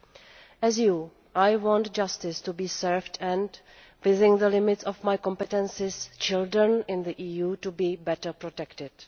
Like you, I want justice to be served and, within the limits of my competences, children in the EU to be better protected.